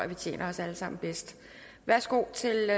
vi tjener os alle sammen bedst værsgo til